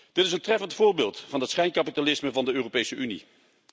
Dit is een treffend voorbeeld van het schijnkapitalisme van de Europese Unie.